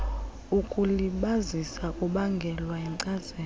ukulibazisa kubangelwa yinkcazelo